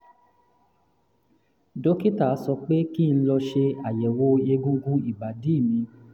dókítà sọ pé kí n lọ ṣe àyẹ̀wò egungun ìbàdí mi